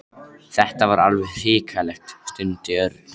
Þetta er alveg hrikalegt stundi Örn.